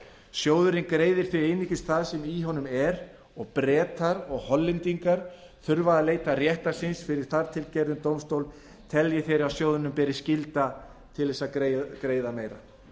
sjóðurinn greiðir því einungis það sem í honum er og bretar og hollendingar þurfa því að leita réttar síns fyrir þartilgerðum dómstól telji þeir að sjóðnum beri skylda til að greiða meira